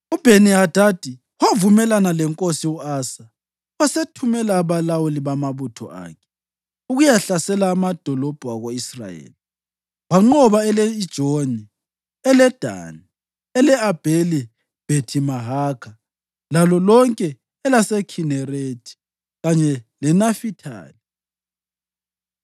UBheni-Hadadi wavumelana lenkosi u-Asa wasethumela abalawuli bamabutho akhe ukuyahlasela amadolobho ako-Israyeli. Wanqoba ele-Ijoni, eleDani, ele-Abheli-Bhethi-Mahakha lalo lonke elaseKhinerethi kanye leNafithali.